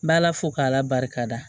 N b'ala fo k'ala barika da